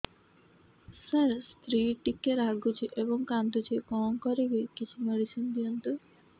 ସାର ସ୍ତ୍ରୀ ଟିକେ ରାଗୁଛି ଏବଂ କାନ୍ଦୁଛି କଣ କରିବି କିଛି ମେଡିସିନ ଦିଅନ୍ତୁ